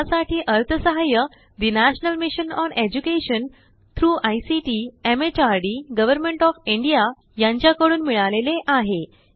यासाठी अर्थसहाय्य the national mission on education through ICT MHRD government of India यांच्या कडून मिळाले आहे